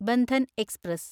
Bandhan express